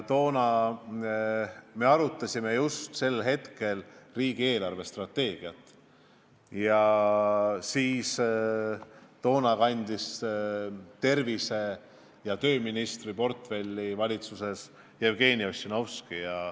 Toona me arutasime just siis riigi eelarvestrateegiat ning tervise- ja tööministri portfelli valitsuses kandis Jevgeni Ossinovski.